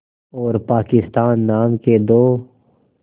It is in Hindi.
और पाकिस्तान नाम के दो